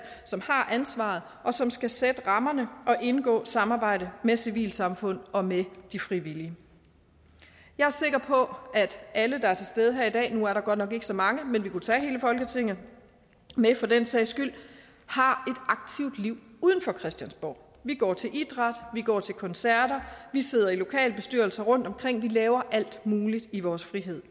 som har ansvaret og som skal sætte rammerne og indgå samarbejde med civilsamfund og med de frivillige jeg er sikker på at alle der er til stede her i dag nu er der godt nok ikke så mange men vi kunne tage hele folketinget med for den sags skyld har aktivt liv uden for christiansborg vi går til idræt vi går til koncerter vi sidder i lokalbestyrelser rundt omkring vi laver alt muligt i vores fritid